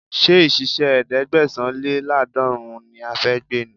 Ṣé ìṣísẹ̀ ẹ̀ẹ́dẹ́gbẹ̀sán-lé-láàdọ́rùn ún ni a fẹ́ gbé ni?